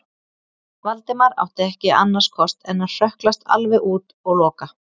Valdimar átti ekki annars kost en að hrökklast alveg út og loka.